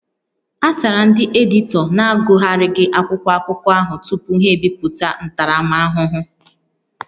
A tara ndị editọ na-agụgharịghị akwụkwọ akụkọ ahụ tupu ha ebipụta ntaramahụhụ